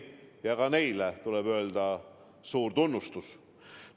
Ka neile raadiotele tuleb avaldada suurt tunnustust.